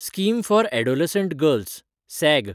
scheme for adolescent girls (sag)